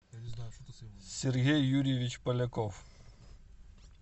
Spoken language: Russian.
сергей юрьевич поляков